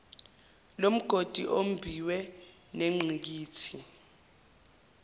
lomgodi ombiwe nengqikithi